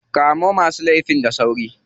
Kamo masu laifin da sauri.